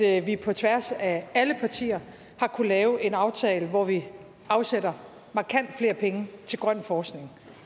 at vi på tværs af alle partier har kunnet lave en aftale hvor vi afsætter markant flere penge til grøn forskning